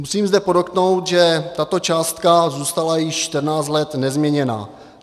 Musím zde podotknout, že tato částka zůstala již 14 let nezměněná.